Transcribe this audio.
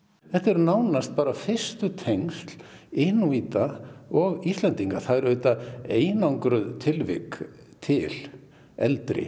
þetta er nánast bara fyrstu tengsl Inúíta og Íslendinga það eru auðvitað einangruð tilvik til eldri